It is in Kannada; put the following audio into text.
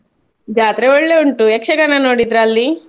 ಜಾತ್ರೆ ಒಳ್ಳೆ ಉಂಟು ಯಕ್ಷಗಾನ ನೋದಿದ್ರಾ ಅಲ್ಲಿ?